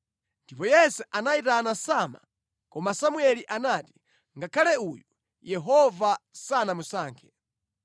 Ndipo Yese anayitana Sama, koma Samueli anati, “Ngakhale uyu Yehova sanamusankhe.”